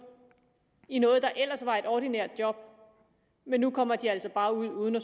i noget der ellers var et ordinært job men nu kommer de altså bare ud uden at